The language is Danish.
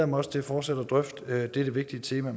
mig også til fortsat at drøfte dette vigtige tema